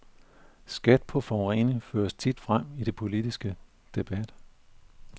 Skat på forurening føres tit frem i den politiske debat.